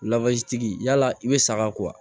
tigi yala i be saga ko wa